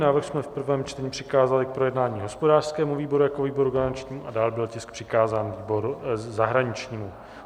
Návrh jsme v prvém čtení přikázali k projednání hospodářskému výboru jako výboru garančnímu a dále byl tisk přikázán výboru zahraničnímu.